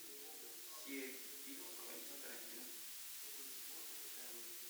все фильмы квентина тарантино